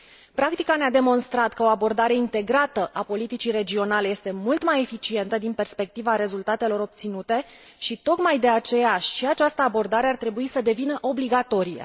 Practica ne a demonstrat că o abordare integrată a politicii regionale este mult mai eficientă din perspectiva rezultatelor obținute și, tocmai de aceea, și această abordare ar trebui să devină obligatorie.